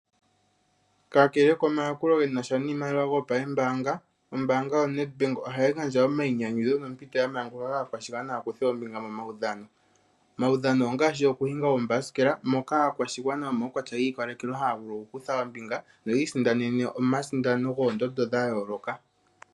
Kakele komayakulo ge na sha niimaliwa gopambaanga, ombaanga yaNedbank ohayi gandja omayinyanyudho nompito ya manguluka kaakwashigwana ya kuthe ombinga momaudhano. Omaudhano ongaashi okuhinga oomabasikela, moka aakwashigwana yomaukwatya gi ikalekelwa haa vulu okukutha ombinga noyi isindanene omasindano goondondo dha yooloka.